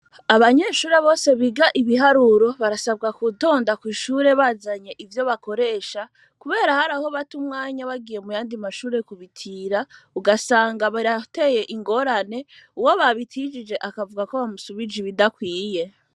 Abanyeshure bose biga ibiharuro, barasabwa gutonda kw'ishure bazanye ivyo bakoresha, kubera har'aho bata umwanya bagiye muyandi mashure kubitira, ugasanga birateye ingorane, uwo babitiye akavuga ko bamusubije ibidakwiye.